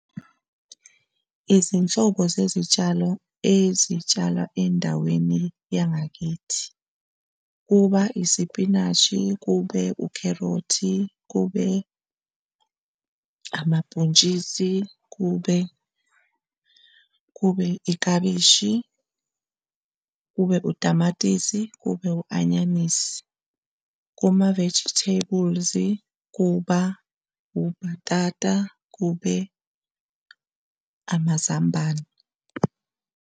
Izinhlobo zezitshalo ezitshalwa endaweni yangakithi. Kuba isipinashi, kube ukherothi, kube amabhontshisi kube, kube iklabishi, kube utamatisi, kube u-anyanisi, kuma-vegetables, kuba ubhatata, kube amazambane.